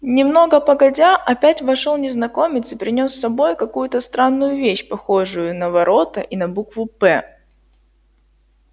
немного погодя опять вошёл незнакомец и принёс с собой какую-то странную вещь похожую на ворота и на букву п